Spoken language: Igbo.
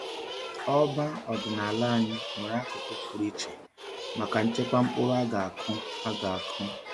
Ọba ọdịnala anyị nwere akụkụ pụrụ iche maka nchekwa mkpụrụ a ga-akụ. a ga-akụ.